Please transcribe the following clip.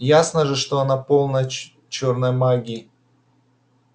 ясно же что она полна чёрной магии